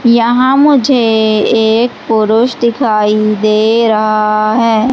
यहां मुझे एक पुरुष दिखाई दे रहा है।